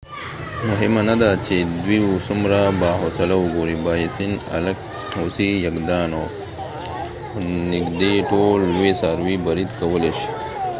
مهمه نده چې دوی څومره باحوصله وګوري بایسن الک هوسۍ یږان او نږدې ټول لوی څاروي برید کولی شي